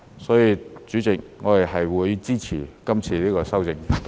所以，主席，我們會支持這項修正案。